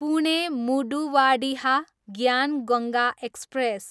Pune, Manduadih Gyan Ganga express